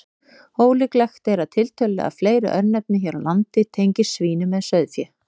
Ólíklegt er að tiltölulega fleiri örnefni hér á landi tengist svínum en sauðfé.